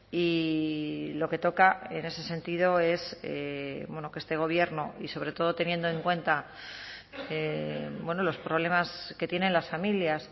y lo que toca en ese sentido es que este gobierno y sobre todo teniendo en cuenta los problemas que tienen las familias